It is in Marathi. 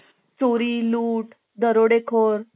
दरोडेखोर लूटमार अपहरण